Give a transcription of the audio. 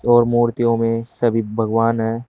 और मूर्तियों में सभी भगवान है।